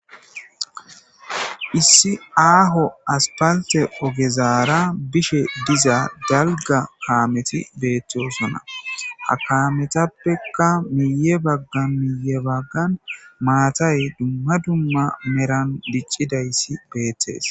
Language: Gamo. Issi aaho aspalte ogezaara bishe diza galga kaameti beethtosona hakaametappekka miye baggan miye baggan maatay dumma dumma meran diccidayssi beettees.